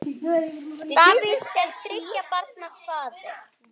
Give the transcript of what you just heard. Davíð er þriggja barna faðir.